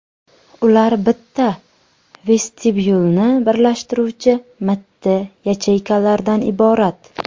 Ular bitta vestibyulni birlashtiruvchi mitti yacheykalardan iborat.